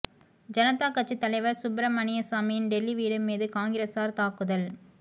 ஜனதாக் கட்சித் தலைவர் சுப்பிரமணியசாமியின் டெல்லி வீடு மீது காங்கிரஸார் தாக்குதல்